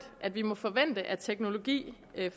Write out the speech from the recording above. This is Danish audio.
at vi må forvente at teknologi